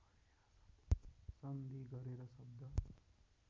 सन्धि गरेर शब्द